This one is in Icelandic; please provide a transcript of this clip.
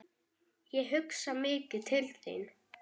Ég hugsaði mikið til þín.